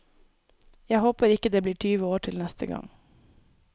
Jeg håper ikke det blir tyve år til neste gang.